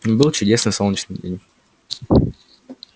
был чудесный солнечный день